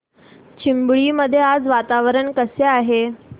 चिंबळी मध्ये आज वातावरण कसे आहे